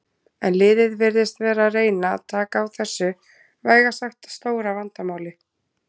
En liðið virðist vera að reyna taka á þessu vægast sagt stóra vandamáli.